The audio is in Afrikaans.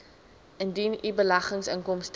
indien u beleggingsinkomste